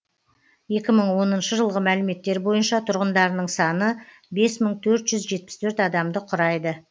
екі мың оныншы жылғы мәліметтер бойынша тұрғындарының саны бес мың төрт жүз жетпіс төрт адамды құрайды